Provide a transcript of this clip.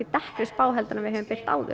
dekkri spá en við höfum birt áður